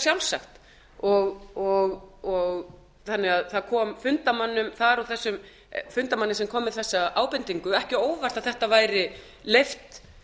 sjálfsagt þannig að það kom fundarmönnum þar og þessum fundarmanni sem kom með þessa ábendingu ekki ábendingu ekki á óvart að þetta væri leyft